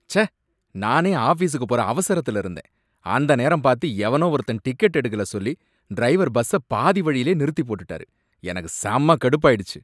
ச்சே! நானே ஆஃபீஸுக்கு போற அவசரத்துல இருந்தேன், அந்த நேரம் பார்த்து எவனோ ஒருத்தன் டிக்கெட் எடுக்கல சொல்லி டிரைவர் பஸ்ஸ பாதி வழிலயே நிறுத்தி போட்டுட்டாரு, எனக்கு செம்ம கடுப்பாய்டுச்சு.